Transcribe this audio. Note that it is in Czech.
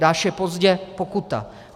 Dáš jej pozdě, pokuta!